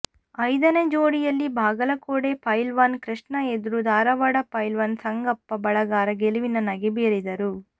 ಐದನೇ ಜೋಡಿಯಲ್ಲಿ ಬಾಗಲಕೋಡೆ ಫೈಲ್ವಾನ ಕೃಷ್ಣಾ ಎದುರು ಧಾರವಾಡ ಫೈಲ್ವಾನ ಸಂಗಪ್ಪ ಬಳಗಾರ ಗೆಲುವಿನ ನಗೆ ಬೀರಿದರು